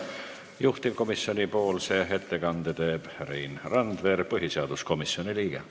Juhtivkomisjoni ettekande teeb Rein Randver, põhiseaduskomisjoni liige.